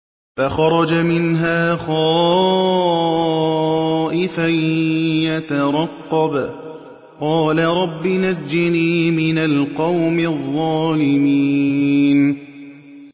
فَخَرَجَ مِنْهَا خَائِفًا يَتَرَقَّبُ ۖ قَالَ رَبِّ نَجِّنِي مِنَ الْقَوْمِ الظَّالِمِينَ